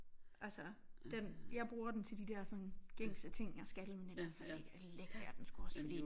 Altså den jeg bruger den til de der sådan gængse ting jeg skal men ellers så lægger lægger jeg den også fordi